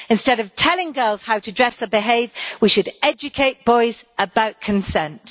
Instead of telling girls how to dress or behave, we should educate boys about consent.